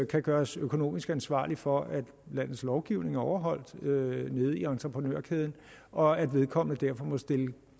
kan gøres økonomisk ansvarlig for at landets lovgivning er overholdt nede i entreprenørkæden og at vedkommende derfor må stille